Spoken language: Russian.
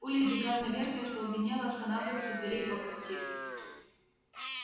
пулей вбегаю наверх и остолбенело останавливаюсь у дверей его квартиры